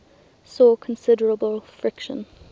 saw considerable friction